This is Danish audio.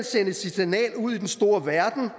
sendes et signal ud i den store verden